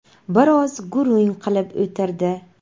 Biroz gurung qilib o‘tirdi.